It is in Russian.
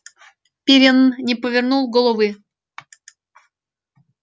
пиренн не повернул головы